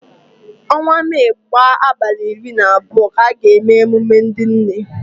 Onwa Mee gbaa abalị iri na abụọ ka a ga-eme emume ndị nne.